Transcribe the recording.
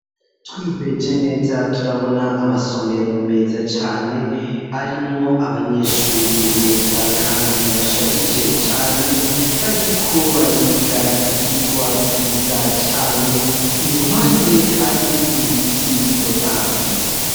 Twihweje neza turabona amasomero meza cane arimwo abanyeshure beza, kandi bashajije cane bariko bariga ivyigwa vyiza cane i ruhande hari ibiti bitotahaye.